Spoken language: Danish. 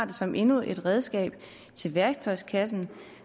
det som endnu et redskab i værktøjskassen